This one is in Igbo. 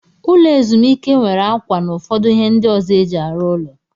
Ụlọ ezumike nwere akwa na ụfọdụ ihe ndị ọzọ eji arụ ụlọ.